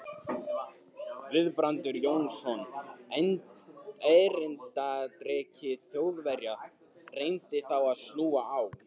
Guðbrandur Jónsson, erindreki Þjóðverja, reyndi þá að snúa á